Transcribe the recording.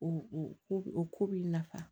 O ko o ko b'i nafa